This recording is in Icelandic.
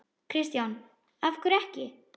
Kristján: Af hverju ekki?